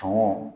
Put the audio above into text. Tumu